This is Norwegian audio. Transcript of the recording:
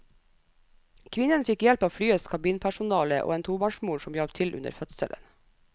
Kvinnen fikk hjelp av flyets kabinpersonale og en tobarnsmor som hjalp til under fødselen.